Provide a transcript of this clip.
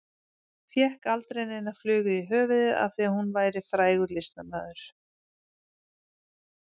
Fékk aldrei neina flugu í höfuðið af því að hún væri frægur listamaður.